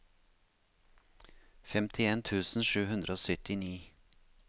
femtien tusen sju hundre og syttini